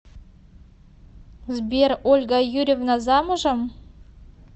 сбер ольга юрьевна замужем